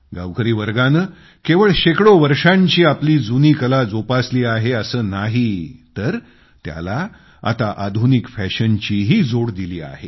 गावकरी वर्गानं केवळ शेकडो वर्षांची आपली जुनीकला जोपासली आहे असं नाही तर त्याला आता आधुनिक फॅशनचीही जोड दिली आहे